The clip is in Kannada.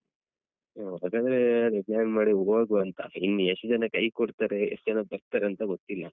ಹ ಹಾಗಾದ್ರೆ ಅದೇ ರಜೆ ಮಾಡಿ ಹೋಗುವ ಅಂತ ಇನ್ ಯೆಸ್ಟ್ ಜನ ಕೈ ಕೊಡ್ತಾರೆ ಯೆಸ್ಟ್ ಜನ ಬರ್ತಾರೆ ಅಂತ ಗೊತ್ತಿಲ್ಲ.